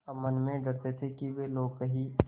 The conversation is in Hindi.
वह मन में डरते थे कि वे लोग कहीं